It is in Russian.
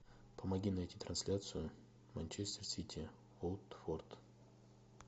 помоги найти трансляцию манчестер сити уотфорд